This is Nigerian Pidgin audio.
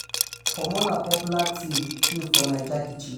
pomo na popular ting ting for naija kitchen